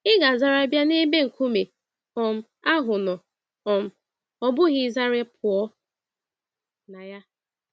Ị ga-azara bịa n'ebe nkume um ahụ nọ um, ọbụghị ịzara pụọ na ya.